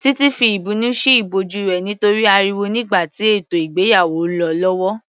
Titi fi ìbínú sí ìbòjú rẹ̀ nítorí ariwo nígbà tí ètò ìgbéyàwó lọ lọ́wọ́